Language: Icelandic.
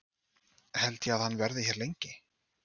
Held ég að hann verði hér lengi?